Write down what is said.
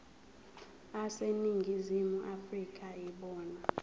aseningizimu afrika yibona